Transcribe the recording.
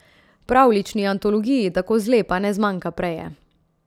Pravljični antologiji tako zlepa ne zmanjka preje.